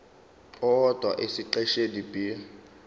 owodwa esiqeshini b